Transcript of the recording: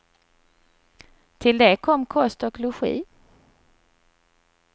Till det kom kost och logi.